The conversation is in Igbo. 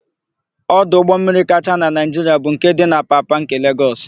Ọdụ ụgbọmmiri kacha na Naịjiria bu nke dị n'Apapa nke Legọs.